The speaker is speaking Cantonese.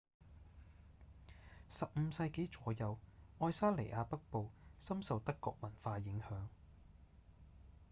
15世紀左右愛沙尼亞北部深受德國文化影響